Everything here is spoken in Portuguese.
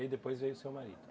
E aí depois veio o seu marido?